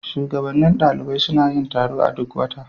Shugabannin ɗalibai suna yin taro a duk wata.